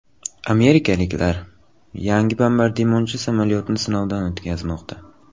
Amerikaliklar yangi bombardimonchi samolyotni sinovdan o‘tkazmoqda.